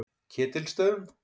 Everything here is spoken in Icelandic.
Ketilsstöðum